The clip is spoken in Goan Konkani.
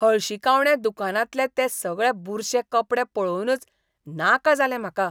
हळशिकावण्या दुकानांतले ते सगळे बुरशे कपडे पळोवनच नाका जालें म्हाका.